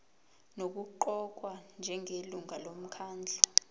nokuqokwa njengelungu lomkhandlu